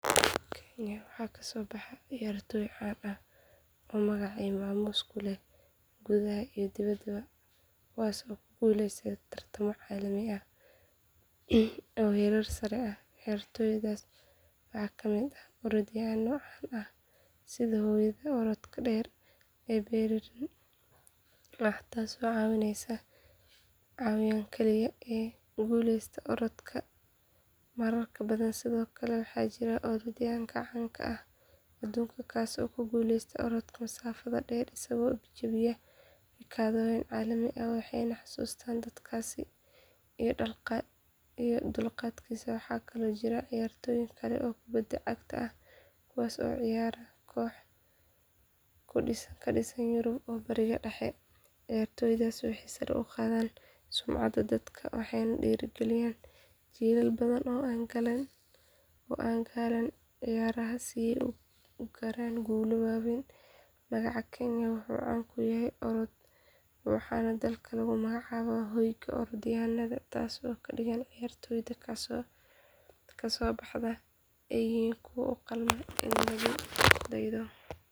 Kenya waxaa kasoo baxay ciyaartooy caan ah oo magac iyo maamuus ku leh gudaha iyo dibadda kuwaas oo ku guuleystay tartamo caalami ah oo heerar sare ah ciyaartooydaas waxaa ka mid ah orodyahanno caan ah sida hooyada orodka dheer ee bareeriin ah taas oo ah caawiyaan keliya ee ku guuleysatay orodka marar badan sidoo kale waxaa jira orodyahanka caan ka ah aduunka kaas oo ku guuleystay orodka masaafada dheer isagoo jabiyay rikoodhyo caalami ah waxaana lagu xasuustaa dadaalkiisa iyo dulqaadkiisa waxaa kaloo jira ciyaartooy kale oo kubbadda cagta ah kuwaas oo u ciyaara kooxo ka dhisan yurub iyo bariga dhexe ciyaartoydaas waxay sare u qaadeen sumcadda dalka waxayna dhiirrigeliyeen jiilal badan in ay galaan ciyaaraha si ay u gaaraan guulo waaweyn magaca kenya wuxuu caan ku yahay orodka waxaana dalka lagu magacaabaa hoyga orodyahannada taasoo ka dhigan in ciyaartooyda kasoo baxda ay yihiin kuwo u qalma in lagu daydo.